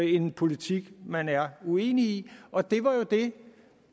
en politik man er uenig i og det var jo det